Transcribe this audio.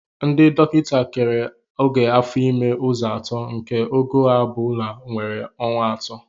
Ndị dọkịta kere ogo afo ime ụzọ atọ nke ogo ọ bụla nwere ọnwa atọ